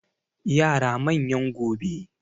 yara manyan gobe